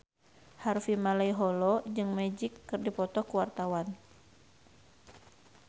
Harvey Malaiholo jeung Magic keur dipoto ku wartawan